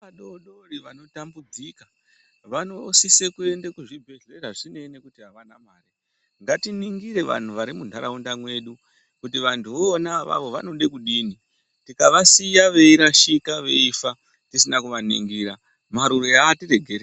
Vana vadoodori vanotambudzika vanosise kuende kuzvibhehlera zvisinei nekuti avana mari, ngatiningire vanhu varimunharaunda mwedu kuti vantuvo ona avavo vanoda kidini takavasiya veirashika veifa tisinaa kuvaningira marure aatiregereri.